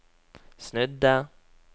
snudde